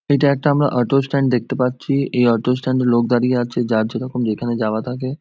এটা একটা আমরা অটো স্ট্যান্ড দেখতে পাচ্ছি এই অটো স্ট্যান্ড এ লোক দাঁড়িয়ে আছে যার যেরকম যেখানে যাওয়া থাকে--